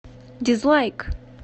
дизлайк